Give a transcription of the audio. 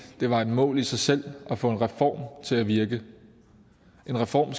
det var et mål i sig selv at få en reform til at virke en reform